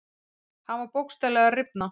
Hann var bókstaflega að rifna.